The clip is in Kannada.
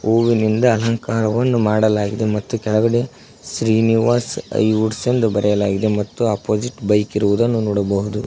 ಹೂವಿನಿಂದ ಅಲಂಕಾರವನ್ನು ಮಾಡಲಾಗಿದೆ ಮತ್ತು ಕೆಳಗಡೆ ಶ್ರೀನಿವಾಸ್ ಹೈವುಡ್ಸ್ ಎಂದು ಬರೆಯಲಾಗಿದೆ ಮತ್ತು ಅಪೋಸಿಟ್ ಬೈಕ್ ಇರುವುದನ್ನು ನೋಡಬಹುದು.